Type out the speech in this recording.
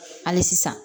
Hali sisan